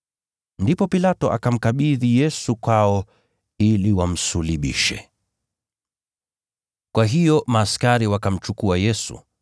Ndipo Pilato akamkabidhi Yesu kwao ili wamsulubishe. Kusulubiwa Kwa Yesu ( Mathayo 27:32-44 ; Marko 15:21-32 ; Luka 23:26-43 ) Kwa hiyo askari wakamchukua Yesu.